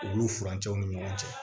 Ulu furancɛw ni ɲɔgɔn cɛ